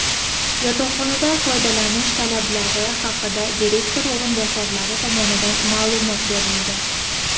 yotoqxonadan foydalanish talablari haqida direktor o‘rinbosarlari tomonidan ma’lumot berildi.